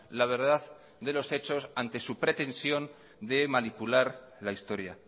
la verdad de los hechos ante su pretensión de manipular la historia